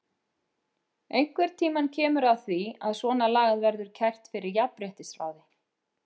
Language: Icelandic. Einhvern tímann kemur að því að svona lagað verður kært fyrir jafnréttisráði.